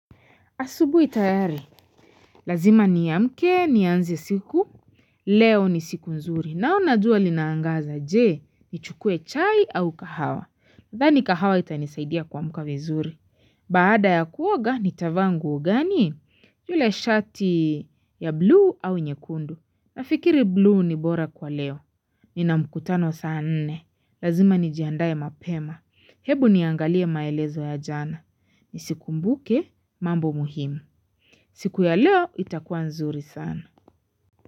Asubuhi tayari, lazima niamke, nianze siku, leo ni siku nzuri. Naona jua linaangaza je, nichukue chai au kahawa. Nadhani kahawa itanisaidia kuamka vizuri. Baada ya kuoga nitavaa nguo gani, yule shati ya bluu au nyekundu. Nafikiri bluu ni bora kwa leo, ni na mkutano saa nne. Lazima nijiandae mapema. Hebu niangalie maelezo ya jana. Nizikumbuke, mambo muhimu. Siku ya leo itakuwa nzuri sana.